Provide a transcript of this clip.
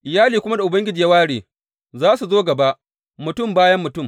Iyalin kuma da Ubangiji ya ware, za su zo gaba mutum bayan mutum.